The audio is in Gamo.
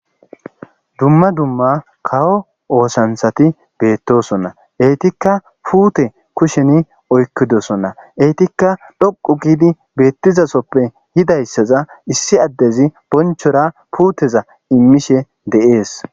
Dumma dumma kawo oosanthati beettosonna eytikka puute kusheni oykkidosonna eytikka dhoqu giidi beettizasoppe hidayssaza issi addezi bonchora puuteza immishe de'ees.